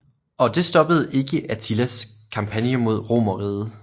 Og det stoppede ikke Attilas kampagne mod Romerriget